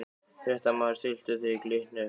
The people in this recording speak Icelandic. Fréttamaður: Stilltu þið Glitni upp við vegg?